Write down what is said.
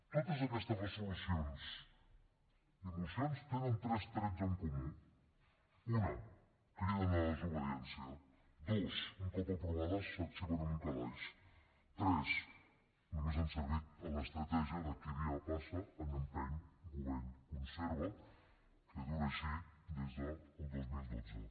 totes aquestes resolucions i mocions tenen tres trets en comú un criden a la desobediència dos un cop aprovades s’arxiven en un calaix tres només han servit a l’estratègia de qui dia passa any empeny govern conserva que dura així des del dos mil dotze